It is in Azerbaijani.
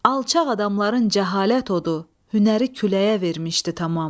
Alçaq adamların cəhalət odu, hünəri küləyə vermişdi tamam.